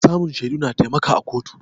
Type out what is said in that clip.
Samun shaidu na taimaka a kotu